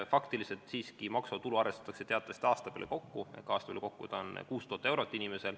Faktiliselt siiski maksuvaba tulu arvestatakse aasta peale kokku, see on 6000 eurot.